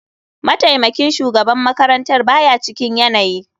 Mataimakin shugaban makarantar ba ya cikin yanayi.